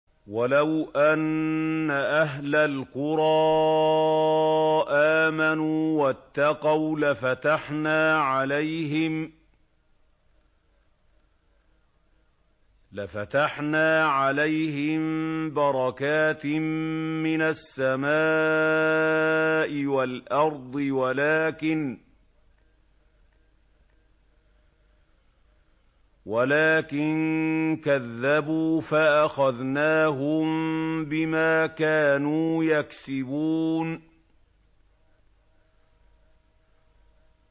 وَلَوْ أَنَّ أَهْلَ الْقُرَىٰ آمَنُوا وَاتَّقَوْا لَفَتَحْنَا عَلَيْهِم بَرَكَاتٍ مِّنَ السَّمَاءِ وَالْأَرْضِ وَلَٰكِن كَذَّبُوا فَأَخَذْنَاهُم بِمَا كَانُوا يَكْسِبُونَ